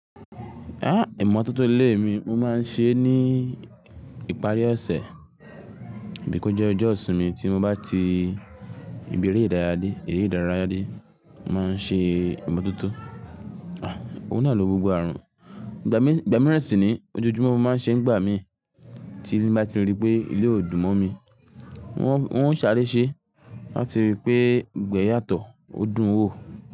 Ah! Ẹ̀mọ̀ ọ̀tọ̀ọ̀tọ̀ ilé mi mo máa ń ṣe é ní ìparí ọ̀sẹ̀, bí kó jẹ́ ọjọ́ ìsinmi tí mo bá ti ibi eré ìdárayá dé, eré ìdárayá dé, màá ṣe ẹ̀mọ̀ ọ̀tọ̀ọ̀tọ̀. Ah! Òun náà lò gbogbo ààrùn. Ìgbà mí, ìgbà mìíràn sì ni ojoojúmọ́ mo máa ń ṣe ń gbà mí tí mo bá ti rí pé ilé ò dùn mọ́ mi. Wọ́n, wọ́n ń sáré ṣe láti rí pé gbogbo yàtọ̀, ó dùn wò.